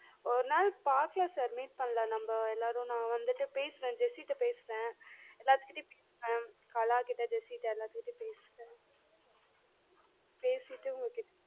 ஒருநாள் பாக்கலாம் sir meet பண்ணலாம் நம்ம எல்லாரும் நா வந்துட்டு பேசுறன் ஜெஸிட்ட பேசுறேன் கலாக்கிட்ட ஜெஸிட்ட எல்லாத்துட்டயும் பேசுறன் பேசிட்டு உங்க கிட்ட